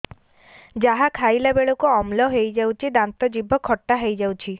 ଯାହା ଖାଇଲା ବେଳକୁ ଅମ୍ଳ ହେଇଯାଉଛି ଦାନ୍ତ ଜିଭ ଖଟା ହେଇଯାଉଛି